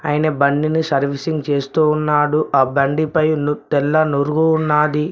ఆయన బండిని సర్వీసింగ్ చేస్తూ ఉన్నాడు ఆ బండి పై ను తెల్ల నురుగు ఉన్నాది.